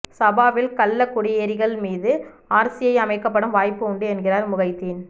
சாபாவில் கள்ளக்குடியேறிகள் மீது ஆர்சிஐ அமைக்கப்படும் வாய்ப்பு உண்டு என்கிறார் முகைதின்